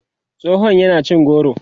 tsohon yana cin goro